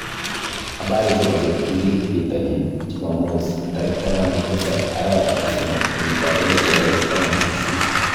Habari chebo cheptulit bitonin chumamos 17.03.2018